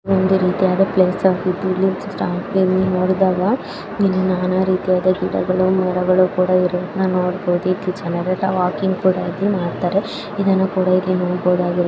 ಒಂದ ರೀತಿಯಾದ ಪ್ಲೇಸ್ ಆಗಿದ್ದು. ಇಲ್ಲಿ ನಾನಾ ರೀತಿಯಾದ ಗಿಡಗಳು ಮೋಡಗಳು ಕೂಡಾ ಇರುವುದನ ನೋಡಬಹುದು ಈ ಜನರ ಕೂಡ ವಾಕಿಂಗ್ ಕೂಡಾ ಇಲ್ಲಿ ಮಾಡ್ತಾರೆ. ಇದನ್ನಾ ಕೂಡಾ ಇಲ್ಲಿ ನೋಡ್ಬಹುದ್--